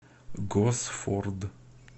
госфорд